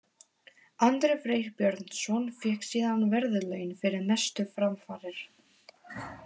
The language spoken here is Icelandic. Andri Freyr Björnsson fékk síðan verðlaun fyrir mestu framfarir.